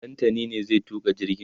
Ɗantani ne zai tuka jirgin